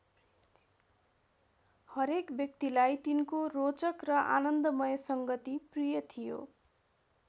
हरेक व्यक्तिलाई तिनको रोचक र आनन्दमय सङ्गति प्रिय थियो।